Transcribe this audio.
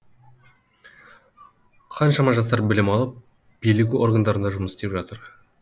қаншама жастар білім алып билік органдарында жұмыс істеп жатыр